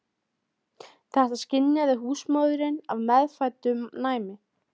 Ég held starfinu lausu þangað til seinni partinn á morgun.